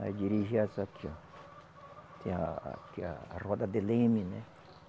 Nós dirigia essa aqui, ó. Tem a a, tem a roda de Leme, né?